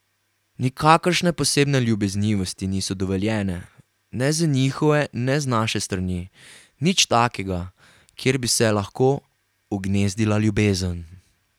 Nikakršne posebne ljubeznivosti niso dovoljene, ne z njihove ne z naše strani, nič takega, kjer bi se lahko ugnezdila ljubezen.